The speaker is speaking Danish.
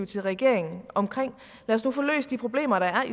til regeringen om lad os nu få løst de problemer der er